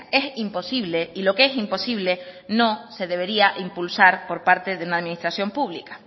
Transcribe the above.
es imposible y lo que es imposible y no se debería impulsar por parte de una administración pública